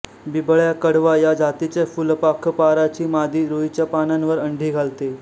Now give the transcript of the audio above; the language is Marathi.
बिबळ्या कडवा या जातीच्या फुलपाखपाराची मादी रुईच्या पानांवर अंडी घालते